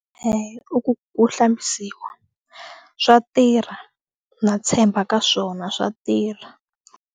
Eya, i ku ku hlambisiwa swa tirha na tshemba ka swona swa tirha.